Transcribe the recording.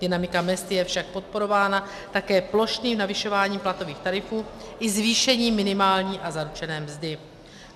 Dynamika mezd je však podporována také plošným navyšováním platových tarifů i zvýšením minimální a zaručené mzdy.